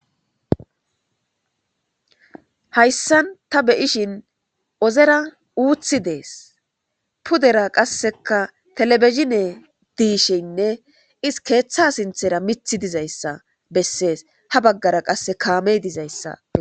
hayssan ta beyishin ozera uuthi dees pudera qasseka telebezine diisheynne is keeththa sinthera mithi dizayssa bessees ha baggara qasse kaamey dizayssa